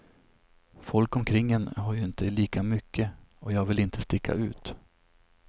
Folk omkring en har ju inte lika mycket, och jag vill inte sticka ut.